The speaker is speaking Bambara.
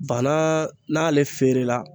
Banaa n'ale feerela